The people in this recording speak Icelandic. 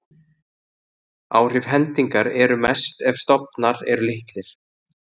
Áhrif hendingar eru mest ef stofnar eru litlir.